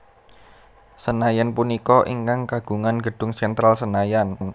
Senayan punika ingkang kagungan gedung Sentral Senayan